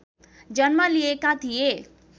जन्म लिएका थिए